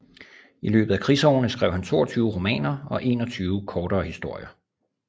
I løbet af krigsårene skrev han 22 romaner og 21 kortere historier